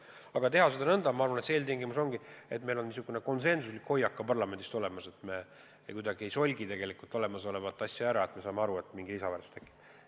Aga seda tuleb teha nõnda, et eeltingimus on ka parlamendis konsensuslik hoiak, et me kuidagi ei solgi olemasolevat asja ära, ja me saame aru, et mingi lisaväärtus tekib.